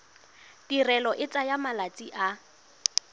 tirelo e tsaya malatsi a